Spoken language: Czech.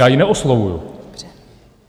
Já ji neoslovuji!